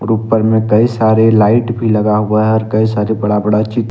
ऊपर में कई सारे लाइट भी लगा हुआ है और कई सारे बड़ा बड़ा ची--